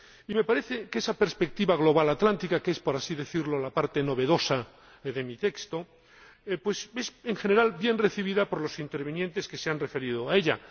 Me parece que esa perspectiva global atlántica, que es, por así decirlo, la parte novedosa de mi texto, ha sido en general bien recibida por los oradores que se han referido a ella